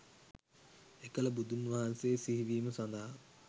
එකල බුදුන් වහන්සේ සිහිවීම සඳහා